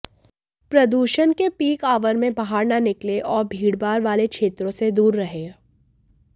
प्रदूषण के peak hour में बाहर न निकलें और भीड़भाड़ वाले क्षेत्रों से दूर रहें